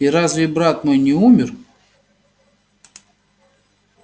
и разве брат мой не умер